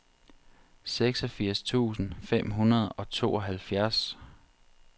seksogfirs tusind fem hundrede og tooghalvfjerds